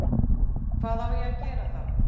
Hvað á ég að gera þá?